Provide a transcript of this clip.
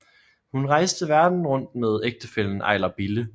Hun rejste verden rundt med ægtefællen Ejler Bille